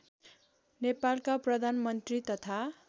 नेपालका प्रधानमन्त्री तथा